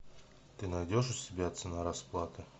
ты найдешь у себя цена расплаты